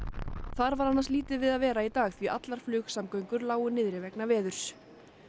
þar var annars lítið við að vera í dag því allar flugsamgöngur lágu niðri vegna veðurs